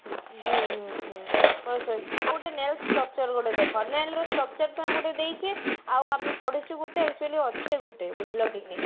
ହୁଁ ହୁଁ ହୁଁ ଆଉ ଗୋଟେ nail structure ଗୋଟେ ଦେଖ nail ର structure ଟା ଗୋଟେ ଦେଇଛି ଆଉ ଆମେ ପଢିଛେ ଗୋଟେ actually ଅଛି ଗୋଟେ ବୁଝିଲ କି ନାଇଁ